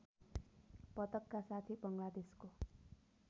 पदकका साथै बङ्गलादेशको